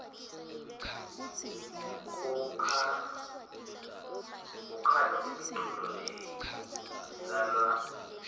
kukhano imiculo leislalwa ngetnsimbi